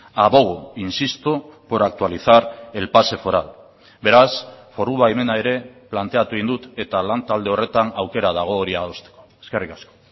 abogo insisto por actualizar el pase foral beraz foru baimena ere planteatu egin dut eta lan talde horretan aukera dago hori adosteko eskerrik asko